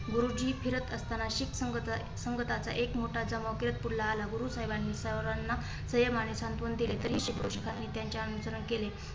गुरुजी फिरत असताना शिक संगत संगथाचा एक मोठा जमाव कीर्तपुरला आला. गुरुसाहेबानी सगळ्यांना संयमाचे सांत्वन दिले तरी शेकडो शिखांनी त्यांचे अनुकरण केले.